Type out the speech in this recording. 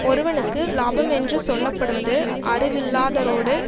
ஒருவனுக்கு இலாபமென்று சொல்ல படுவது அறிவில்லாதரோடு